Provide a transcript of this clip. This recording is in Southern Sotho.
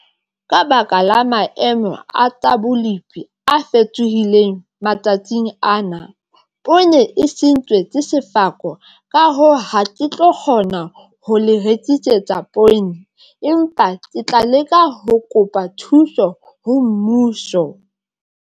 Ka baka la maemo a tsa bolipi a fetohileng matsatsing ana, poone e sentswe ke sefako, ka hoo, ha ke tlo kgona ho le rekisetsa poone, empa ke tla leka ho kopa thuso ho mmuso.